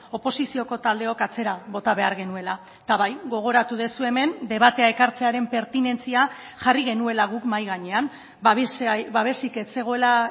oposizioko taldeok atzera bota behar genuela eta bai gogoratu duzue hemen debatea ekartzearen pertinentzia jarri genuela guk mahai gainean babesik ez zegoela